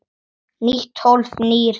Nýtt hólf- nýr hlátur